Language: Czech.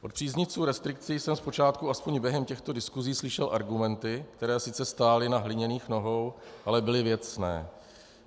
Od příznivců restrikcí jsem zpočátku aspoň během těchto diskusí slyšel argumenty, které sice stály na hliněných nohou, ale byly věcné.